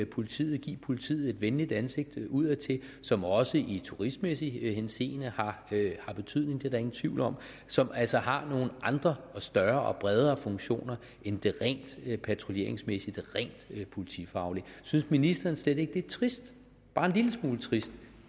politiet give politiet et venligt ansigt udadtil som også i turistmæssig henseende har betydning det er der ingen tvivl om som altså har nogle andre og større og bredere funktioner end det rent patruljeringsmæssige det rent politifaglige synes ministeren slet ikke det er trist bare en lille smule trist